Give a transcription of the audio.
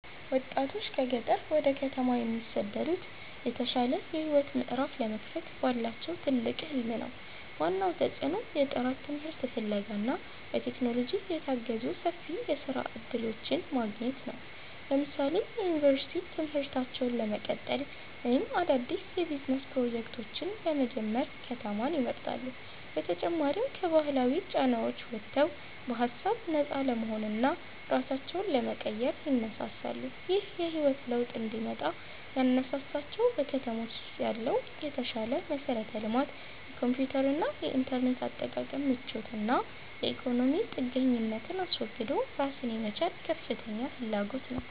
ወጣቶች ከገጠር ወደ ከተማ የሚሰደዱት የተሻለ የህይወት ምዕራፍ ለመክፈት ባላቸው ትልቅ ህልም ነው። ዋናው ተጽዕኖ የጥራት ትምህርት ፍለጋ እና በቴክኖሎጂ የታገዙ ሰፊ የስራ እድሎችን ማግኘት ነው። ለምሳሌ የዩኒቨርሲቲ ትምህርታቸውን ለመቀጠል ወይም አዳዲስ የቢዝነስ ፕሮጀክቶችን ለመጀመር ከተማን ይመርጣሉ። በተጨማሪም ከባህላዊ ጫናዎች ወጥተው በሃሳብ ነፃ ለመሆንና ራሳቸውን ለመቀየር ይነሳሳሉ። ይህ የህይወት ለውጥ እንዲመጣ ያነሳሳቸው በከተሞች ያለው የተሻለ መሠረተ ልማት፣ የኮምፒውተርና የኢንተርኔት አጠቃቀም ምቾት እና የኢኮኖሚ ጥገኝነትን አስወግዶ ራስን የመቻል ከፍተኛ ፍላጎት ነው